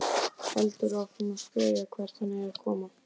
Heldur áfram að spyrja hvert hann eigi að koma.